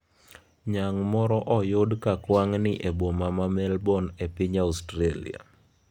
Nyang' moro oyudi ka kwangni ​​e boma ma Melbourne e piny Australia